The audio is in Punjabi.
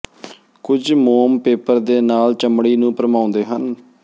ਕੁਝ ਮੋਮ ਪੇਪਰ ਦੇ ਨਾਲ ਚਮੜੀ ਨੂੰ ਭਰਮਾਉਂਦੇ ਹਨ